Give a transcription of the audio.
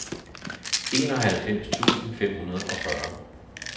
enoghalvfems tusind fem hundrede og fyrre